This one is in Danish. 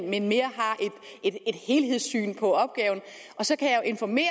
men mere har et helhedssyn på opgaven så kan jeg jo informere